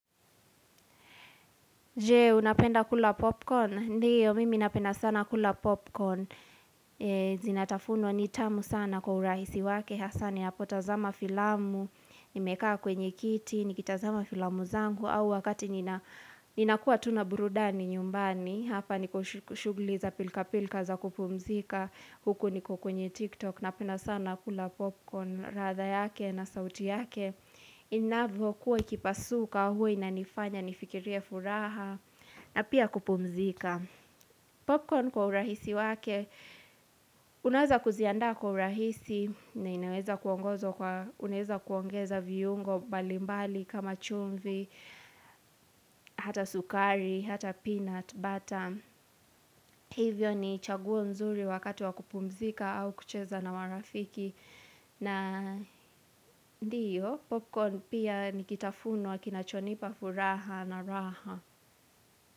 Je, unapenda kula popcorn? Ndiyo, mimi napenda sana kula popcorn. Zinatafunwa ni tamu sana kwa urahisi wake, hasa ninapotazama filamu, nimekaa kwenye kiti, nikitazama filamu zangu, au wakati ninakua tu na burudani nyumbani, hapa niko shugli za pilka pilka za kupumzika, huku niko kwenye TikTok, napenda sana kula popcorn radha yake na sauti yake. Inavyokuwa ikipasuka huwa inanifanya nifikirie furaha na pia kupumzika Popcorn kwa urahisi wake Unaweza kuzianda kwa urahisi na Unaweza kuongeza viungo mbalimbali kama chumvi Hata sukari, hata peanut butter Hivyo ni chaguo mzuri wakati wa kupumzika au kucheza na marafiki na ndiyo, popcorn pia nikitafunwa kinachonipa furaha na raha.